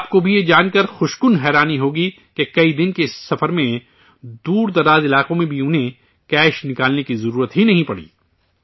آپ کو بھی یہ جان کر بے حد حیرانی ہوگی کہ کئی دن کے اس سفر میں دور دراز علاقوں میں بھی انہیں کیش نکالنے کی ضرورت ہی نہیں پڑی